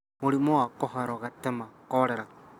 Mũrimũ wa Kũharwo gatema (Cholera):